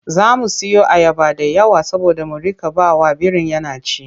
Za mu siyo ayaba da yawa saboda mu riƙa ba wa birin yana ci.